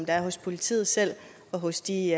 er hos politiet selv og hos de